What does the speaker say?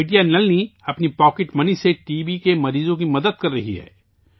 بیٹی نلنی، اپنی جیب خرچ سے ٹی بی کے مریضوں کی مدد کررہی ہیں